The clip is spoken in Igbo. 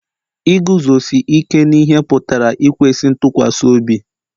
Iguzosi ike n'ihe pụtara ikwesị ntụkwasị obi